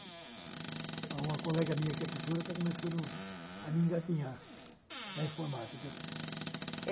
Há uma colega minha que é professora que está começando a me engatinhar na informática.